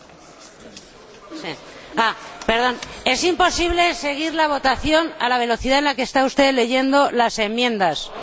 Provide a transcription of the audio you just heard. Señor Presidente, es imposible seguir la votación a la velocidad a la que está usted leyendo las enmiendas, lo siento.